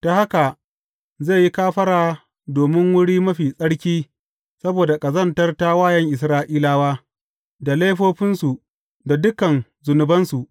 Ta haka zai yi kafara domin Wuri Mafi Tsarki saboda ƙazantar tawayen Isra’ilawa, da laifofinsu, da dukan zunubansu.